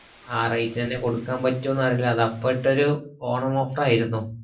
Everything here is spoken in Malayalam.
ആ rate ലെന്നെ കൊടുക്കാപറ്റുന്ന് അറീല്ല അത് അപ്പൊട്ടൊരു ഓണം offer ആയിരുന്നു